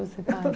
Você para